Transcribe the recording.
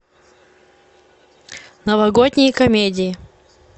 новогодние комедии